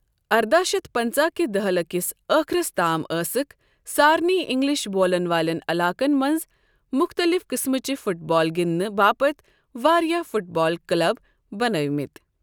ارداہ شتھ پنٛژاہ كہ دہلہِ کِس ٲخرس تام ٲسکھ سارنٕے انگلش بولَن والٮ۪ن علاقن منٛز مٗختلِف قٕسمٕچہِ فٗٹ بال گِندنہٕ باپت واریٛاہ فٹ بال کٔلَب بنٲوِمٕتۍ۔